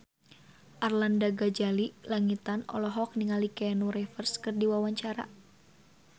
Arlanda Ghazali Langitan olohok ningali Keanu Reeves keur diwawancara